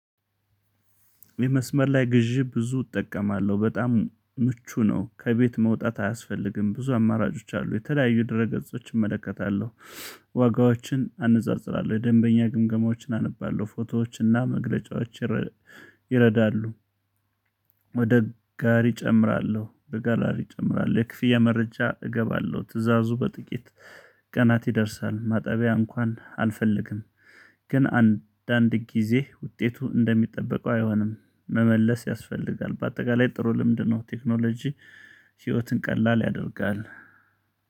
የመስመር ላይ ግዢ ብዙ እጠቀማለሁ በጣም ምቹ ነው ከቤት መውጣት አያስፈልግም ብዙ አማራጮች አሉ የተለያዩ ድረ ገጾችን እመለከታለሁ ዋጋዎችን አነጻጽራለሁ የደንበኛ ግምገማዎችን አነባለሁ ፎቶዎችና መግለጫዎች ይረዳሉ። ወደ ጋሪ እጨምራለሁ በጋላሪ እጨምራለሁ የክፍያ መረጃ እገባለሁ ትእዛዙ በጥቂት ቀናት ይደርሳል። ማጠቢያ እንኳን አልፈልግም። ግን አንዳንድ ጊዜ ውጤቱ እንደሚጠበቀው አይሆንም መመለስ ያስፈልጋል። በአጠቃላይ ጥሩ ልምድ ነው። ቴክኖሎጂ ህይወትን ቀላል ያደርጋል